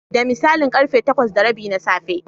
Da misalin ƙarfe takwas da rabi na safe.